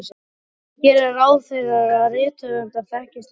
Ég geri ráð fyrir að rithöfundar þekkist líka.